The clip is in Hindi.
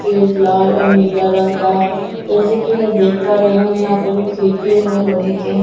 पेंट लाल और नीला रंग का है जैसे कि मैं देख पा रही हूं यहां पर जो खिड़की है वो लोहे के हैं।